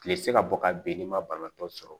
Kile tɛ se ka bɔ ka ben n'i ma banabaatɔ sɔrɔ